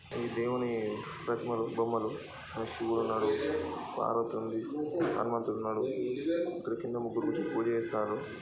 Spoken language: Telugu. ఈ దేవుని ప్రతిమలు బొమ్మలు శివుడు ఉన్నాడు పార్వతి ఉంది హనుమంతుడు ఉన్నాడు ఈ కింద ముగ్గురు కూర్చోని పూజ చేస్తున్నారు.